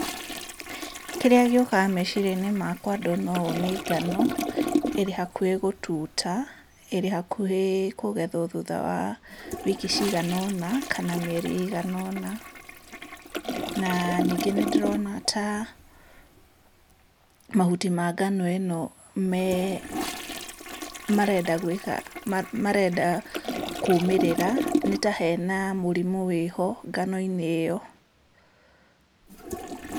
Kĩrĩa gĩũkaga meciriainĩ makwa ndona ũũ nĩ ngano, ĩrĩ hakuhĩ gũtuta, ĩrĩ hakuhĩ kũgethwo thutha wa wiki ciganona, kana mĩeri ĩigana ũna, na ningĩ nĩndĩrona ta mahuti ma ngano ĩno me marenda gwĩka ma marenda kũmĩrĩra, nĩtahena mũrimũ wĩho, nganoinĩ ĩyo.